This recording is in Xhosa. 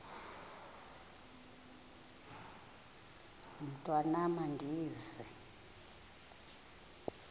mntwan am andizi